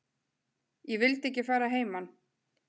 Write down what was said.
Ég vildi ekki fara að heiman.